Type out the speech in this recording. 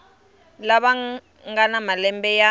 lava nga na malembe ya